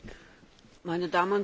Meine Damen und Herren!